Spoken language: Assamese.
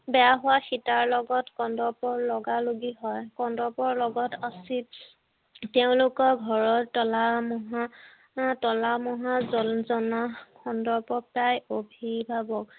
বেয়া হোৱাত সীতাৰ লগত কন্দৰ্পৰ লগালগি হয় কন্দৰ্পৰ লগত তেওঁলোকৰ ঘৰত তলা তলা মহা কন্দৰ্পক তাই